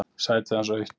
Sætið hans autt.